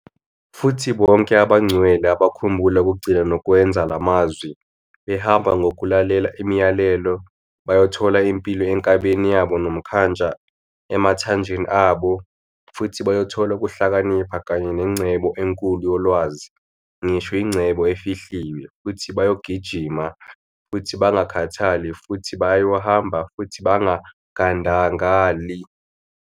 Futhi bonke abangcwele abakhumbula ukugcina nokwenza lamazwi, behamba ngokulalela imiyalelo, bayothola impilo enkabeni yabo nomnkantsha emathanjeni abo, futhi bayothola ukuhlakanipha kanye nengcebo enkulu yolwazi, ngisho ingcebo efihliwe, futhi bayogijima futhi bangakhathali, futhi bayohamba futhi bangadangali.